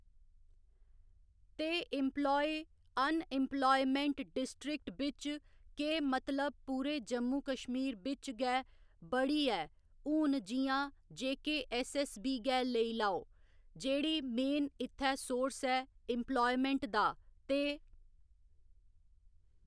ते employ unemployment district बिच्च केह् मतलब पूरे जम्मू कश्मीर बिच्च गै बड़ी ऐ हून जि'यां जेकेऐस्सऐस्सबी गै लाई लेओ जेह्ड़ी मेन इ'त्थै सोर्स ऐ इम्पलायमैंट दा ते